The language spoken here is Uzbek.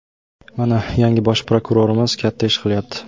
Mana, yangi bosh prokurorimiz katta ish qilyapti.